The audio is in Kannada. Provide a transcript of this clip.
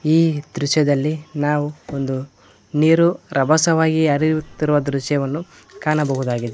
ಈ ದೃಶ್ಯದಲ್ಲಿ ನಾವು ಒಂದು ನೀರು ರಭಸವಾಗಿ ಹರಿಯುತ್ತಿರುವ ದೃಶ್ಯವನ್ನು ಕಾಣಬಹುದಾಗಿದೆ.